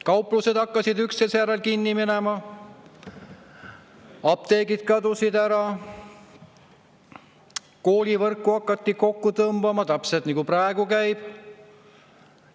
Kauplused hakkasid üksteise järel kinni minema, apteegid kadusid ära, koolivõrku hakati kokku tõmbama – täpselt nagu see praegu käib.